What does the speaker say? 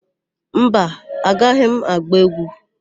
Mba, agaghị m agba égwú.